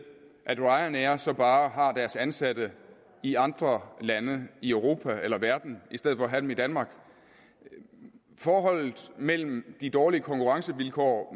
at ryanair så bare har deres ansatte i andre lande i europa eller verden end i danmark forholdet mellem de dårlige konkurrencevilkår